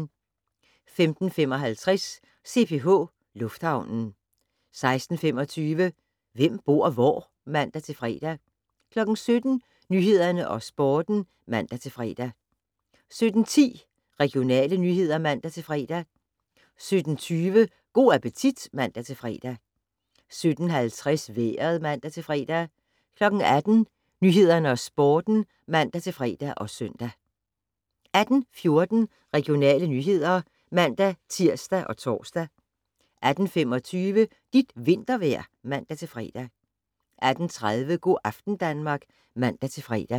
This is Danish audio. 15:55: CPH Lufthavnen 16:25: Hvem bor hvor? (man-fre) 17:00: Nyhederne og Sporten (man-fre) 17:10: Regionale nyheder (man-fre) 17:20: Go' appetit (man-fre) 17:50: Vejret (man-fre) 18:00: Nyhederne og Sporten (man-fre og søn) 18:14: Regionale nyheder (man-tir og tor) 18:25: Dit vintervejr (man-fre) 18:30: Go' aften Danmark (man-fre)